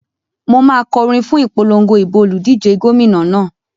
Mo máa kọ orin fún ìpolongo ìbò olùdíje gómìnà náà.